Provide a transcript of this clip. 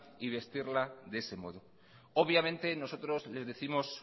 y vestirla de ese modo obviamente nosotros les décimos